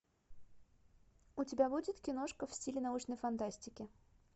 у тебя будет киношка в стиле научной фантастики